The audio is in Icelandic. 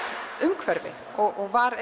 umhverfi og var